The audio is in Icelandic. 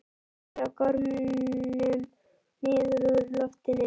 Tveir á gormum niður úr loftinu.